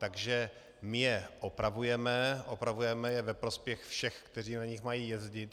Takže my je opravujeme, opravujeme je ve prospěch všech, kteří na nich mají jezdit.